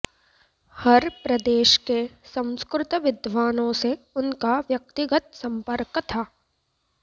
हर प्रदेश के संस्कृत विद्वानों से उनका व्यक्तिगत सम्पर्क था